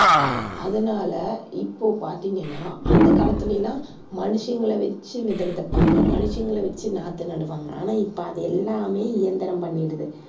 அதனால இப்போ பார்த்தீங்கன்னா அந்தக் காலத்தில எல்லாம் மனுஷங்களை வச்சு விதை விதைப்பாங்க, மனுஷங்களை வச்சு நாத்து நடுவாங்க, ஆனா இப்ப அது எல்லாமே இயந்திரம் பண்ணிடுது.